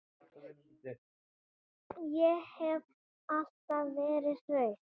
Ég hef alltaf verið hraust.